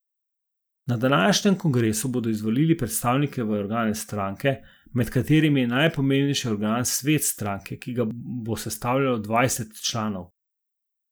Na današnjem kongresu bodo izvolili predstavnike v organe stranke, med katerimi je najpomembnejši organ Svet stranke, ki ga bo sestavljajo dvajset članov.